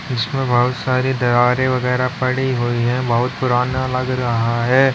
इसमें बहुत सारी दरारें वगैरा पड़ी हुई है बहुत पुराना लग रहा है।